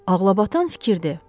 Ağlabatan fikirdir.